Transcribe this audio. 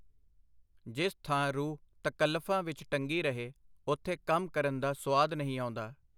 ਜਿਸ ਥਾਂ ਰੂਹ ਤਕੱਲਫਾਂ ਵਿਚ ਟੰਗੀ ਰਹੇ, ਉਥੇ ਕੰਮ ਕਰਨ ਦਾ ਸੁਆਦ ਨਹੀਂ ਆਉਂਦਾ.